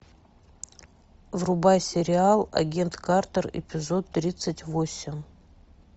врубай сериал агент картер эпизод тридцать восемь